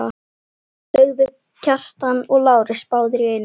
sögðu Kjartan og Lárus báðir í einu.